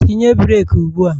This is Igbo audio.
Tinye breeki ugbua!